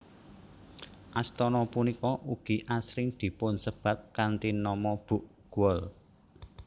Astana punika ugi asring dipunsebat kanthi nama Bukgwol